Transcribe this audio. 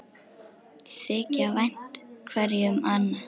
Þykja vænt hverju um annað.